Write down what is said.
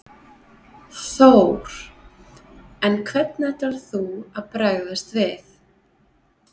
Þór: En hvernig ætlar þú að bregðast við?